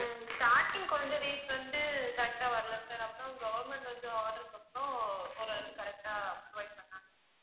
உம் starting கொஞ்ச days வந்து correct ஆ வரல sir அப்பறம் government வந்து order போட்டதும் ஓரளவுக்கு correct ஆ provide பண்ணாங்க